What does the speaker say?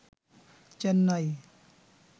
Chennai